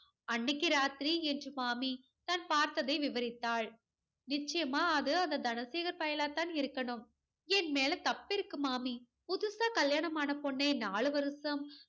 அன்னைக்கு ராத்திரி என்று மாமி தான் பார்த்ததை விவரித்தாள். நிச்சயமா அது அந்த தனசேகர் பயலா தான் இருக்கணும். என் மேல தப்பு இருக்கு மாமி. புதுசா கல்யாணம் ஆன பொண்ணை நாலு வருஷம்